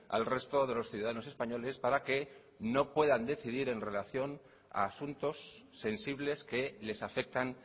al resto de los ciudadanos españoles para que no puedan decidir en relación a asuntos sensibles que les afectan